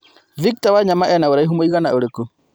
Victor Wanyama ena ũraihu mũigana ũrikũ